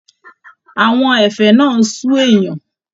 Àwọn ẹ̀fẹ̀ náà n sú èèyàn.